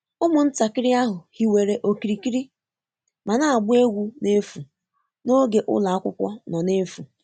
Ụmụntakịrị ahụ hiwere okirikiri ma na-agba egwu n'efu n'oge ụlọ akwụkwọ nọ n'efu